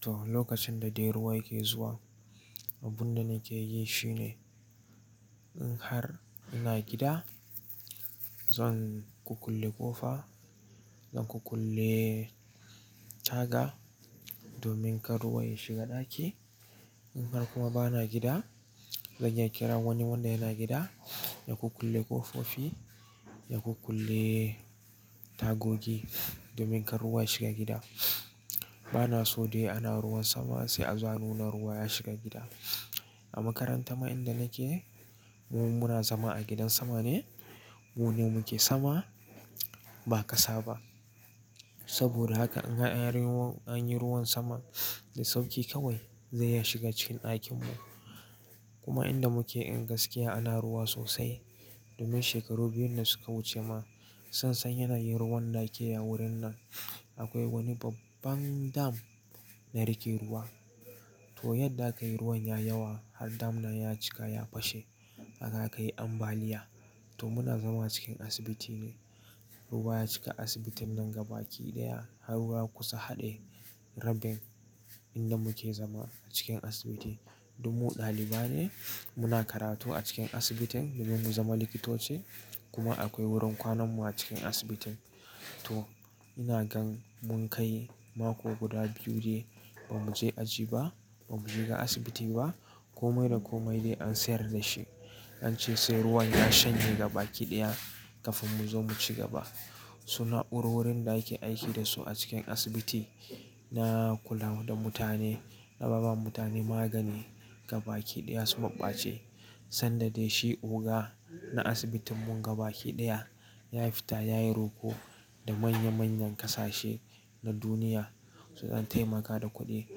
To, lokacin da dai ruwa yake zuwa, abun da nake yi shi ne in har ina gida, zan kukulle ƙofa zan kukulle taga domin kar ruwa ya shiga ɗaki. In har kuma ba na gida, zan kira wani wanda yana gida ya kukulle ƙofofi ya kukulle tagogi domin kar ruwa ya shiga gida. Ba na so dai ana ruwan sama sai a za nuna ruwa ya shiga gida. A makaranta ma inda nake, mu muna zama a gidan sama ne. Mune ne muke sama, ba ƙasa ba. Saboda haka in har an yi ruwan sama da sauƙi kawai zai ya shiga cikin ɗakinmu. Kuma inda muke, in gaskiya ana ruwa sosai. Domin shekaru biyun da suka wuce ma sassan yana yin ruwan da ake ya wurin nan. Akwai wani babban dam na riƙe ruwa. To, yadda aka yi ruwan yayi yawa har dam na ya cika ya fashe haka akai ambaliya. To, muna zama cikin asibiti ne. Ruwa ya cika asibitin nan gaba kiɗaya har ruwa kusa haɗe rabin inda muke zama a cikin asibiti. Duk mu ɗalibai ne muna karatu a cikin asibitin domin mu zama likitoci. Kuma akwai wurin kwananmu a cikin asibitin. To, ina gan mun kai mako guda biyu dai ba mu je aji ba, ba mu shiga asibiti ba. Komai da komai dai an sayar da shi. An ce sai ruwan ya shanye gaba kiɗaya kafin mu zo mu ci gaba. Su na'urorin da ake aiki da su a cikin asibiti na kula da mutane, na ba ba mutane magani gaba kiɗaya su maɓɓace. Sanda dai shi oga na asibitinmu gaba kiɗaya ya fita ya yi roko da manya manyan ƙasashe na duniya su ɗan taimaka da kuɗi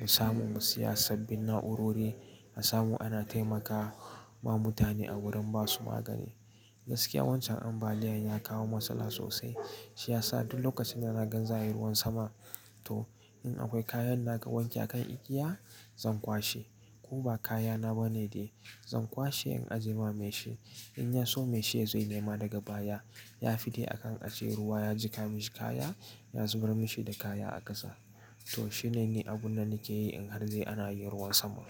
mu samu mu siya sabbin na'urori a samu ana taimakawa ma mutane a wurin ba su magani. Gaskiya wancan ambaliyan ya kawo matsala sosai. Shi ya sa duk lokacin da ina gan za a yi ruwan sama, to in akwai kayan naga wanke a kan igiya, zan kwashe. Ko ba kaya na ba ne dai, zan kwashe in ajiye wa mai shi. In ya so mai shi ya zai nema daga baya. Ya fi dai akan a ce ruwa ya jiƙa mishi kaya ya zubar mishi da kaya a ƙasa. To, shi ne ne abun da nake yi in har dai ana yin ruwan sama.